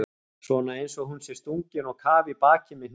Svona einsog hún sé stungin á kaf í bakið með hnífi.